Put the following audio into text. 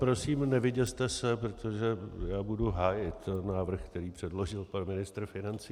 Prosím, nevyděste se, protože já budu hájit návrh, který předložil pan ministr financí.